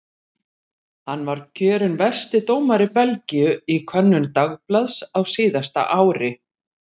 Hann var kjörinn versti dómari Belgíu í könnun dagblaðs á síðasta ári.